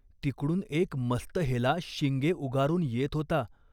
तिकडून एक मस्त हेला शिंगे उगारून येत होता.